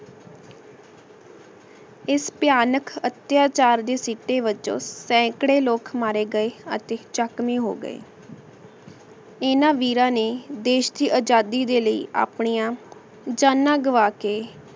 ਏਸ ਭਯਾਨਕ ਅਤਿਆਚਾਰ ਦੇ ਸਿਟੀ ਵਿਚ ਸੇਨ੍ਕ੍ਰਾਯ ਲੋਗ ਮਾਰੇ ਗਾਯ ਅਤੀ ਜ਼ਖਮੀ ਹੋਗੇ ਜਿਨਾਂ ਵੀਰਾਂ ਨੇ ਦੇਸ਼ ਦੀ ਆਜ਼ਾਦੀ ਦੇ ਲੈ ਆਪਣੀਆਂ ਜਾਂਨਾਂ ਗੰਵਾ ਕੇ